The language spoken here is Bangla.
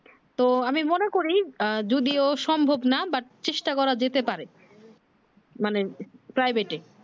তো আমি মনে করি আহ যদিও সম্ভব না but চেষ্টা করা যেতে পারে মানে privet এ